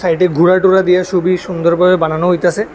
এটি ঘোড়া টুরা দিয়া সুবই সুন্দর করে বানানো হইতাছে।